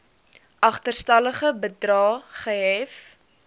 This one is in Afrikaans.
agterstallige bedrae gehef